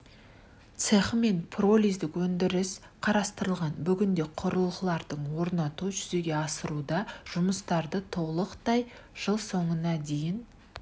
цехі мен пиролиздік өндіріс қарастырылған бүгінде құрылғыларды орнату жүзеге асырылуда жұмыстарды толықтай жыл соңына дейін